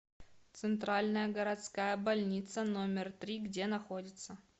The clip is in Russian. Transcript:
центральная городская больница номер три где находится